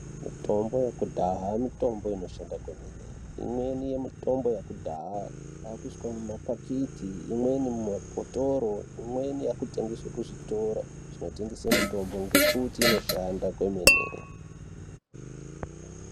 Mitombo yekudhaya mitombo inoshanda kwemene mitombo yekudhaya yakuiswa muma pakiti imweni muma bhotoro imweni yakutengeswa muzvitoro zvinotengesa mitombo ngekuti inoshanda kwemene.